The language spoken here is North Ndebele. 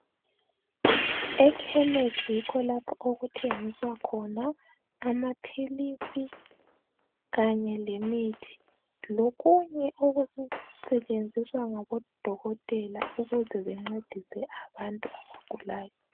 Ekhemisi yikho lapho okuthengiswa khona amaphilisi kanye lemithi lokunye okusetshenziswa ngabo Dokotela ukuze bencedise abantu abagulayo.